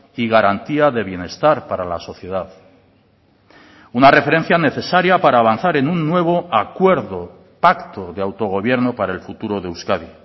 y garantía de bienestar para la sociedad una referencia necesaria para avanzar en un nuevo acuerdo pacto de autogobierno para el futuro de euskadi